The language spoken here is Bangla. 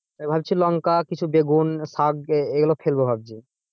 আমি ভাবছি লঙ্কা কিছু বেগুন শাক এগুলো ফেলবো ভাবছি।